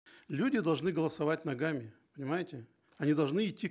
люди должны голосовать ногами понимаете они должны идти